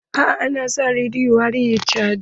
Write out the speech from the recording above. Eh na sa rediyon are caji.